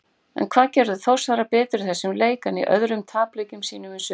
En hvað gerðu Þórsarar betur í þessum leik en í öðrum tapleikjum sínum í sumar?